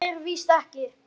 Svo er víst ekki.